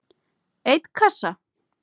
einn kassa?